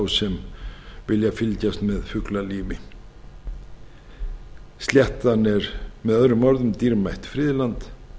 fyrir þá sem vilja fylgjast með fuglalífi sléttan er með öðrum orðum dýrmætt friðland